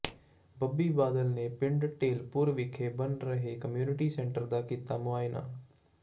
ਬੱਬੀ ਬਾਦਲ ਨੇ ਪਿੰਡ ਢੇਲਪੁਰ ਵਿਖੇ ਬਣ ਰਹੇ ਕੰਮਿਊਨਿਟੀ ਸੈਂਟਰ ਦਾ ਕੀਤਾ ਮੁਆਇਨਾ